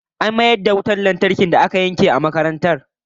An mayar da wutar lantarkin da aka yanke a da a makarantar